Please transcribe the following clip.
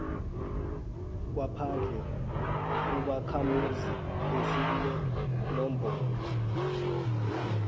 kwephandle ubakhamuzi esinenomboro